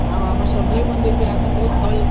ଆଉ ଆମ ସମଲେଇ ମନ୍ଦିର ବି ଆଗରୁ ବହୁତ ଭଲ